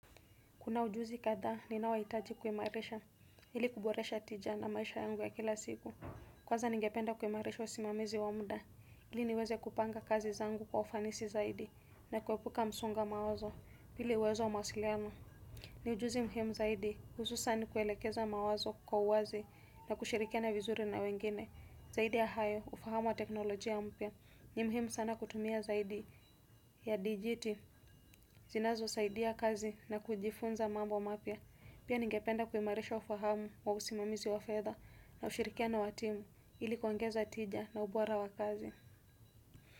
Kuna ujuzi kadhaa ninayo hitaji kuimarisha, ili kuboresha tija na maisha yangu ya kila siku. Kwanza ningependa kuimarisha usimamizi wa muda ili niweze kupanga kazi zangu kwa ufanisi zaidi na kuepuka msongo wa mawazo pili uwezo wa mawasiliano. Ni ujuzi muhimu zaidi, hususan kuelekeza mawazo kwa uwazi na kushirikiana vizuri na wengine. Zaidi ya hayo, ufahamu wa teknolojia mpya ni muhimu sana kutumia zaidi ya dijiti zinazo saidia kazi na kujifunza mambo mapya. Pia ningependa kuimarisha ufahamu wa usimamizi wa fedha na ushirikiano wa timu ili kuongeza tija na ubora wa kazi.